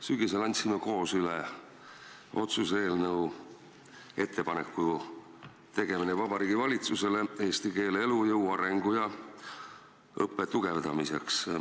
Sügisel andsime koos üle otsuse eelnõu ettepaneku tegemise kohta Vabariigi Valitsusele eesti keele elujõu, arengu ja õppe tugevdamiseks.